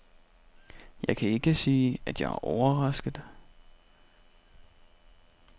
Jeg kan ikke sige, at jeg er overrasket.